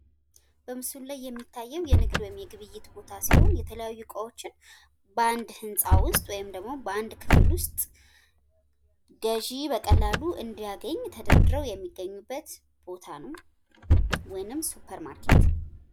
በምስሉ ላይ የሚታየው የንግድ ወይም የግብይት ቦታ ሲሆን የተለያዩ እቃዎችን በአንድ ህንጻ ውስጥ ወይም ደግሞ በአንድ ክፍል ውስጥ ገዥ በቀላሉ እንዲያገኝ ተደርጎ ተደርድረው የሚገኙበት ቦታ ነው ወይም ሱፐርማርኬት።